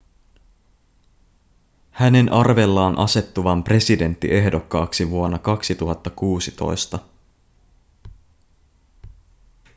hänen arvellaan asettuvan presidenttiehdokkaaksi vuonna 2016